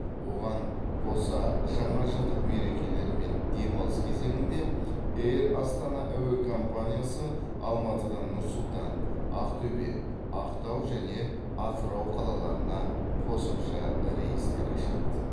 оған қоса жаңажылдық мерекелер мен демалыс кезеңінде эйр астана әуе компаниясы алматыдан нұр сұлтан ақтөбе ақтау және атырау қалаларына қосымша рейстер ашады